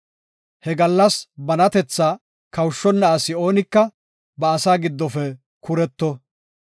He gallas banatetha kawushonna asi oonika ba asaa giddofe kuretto.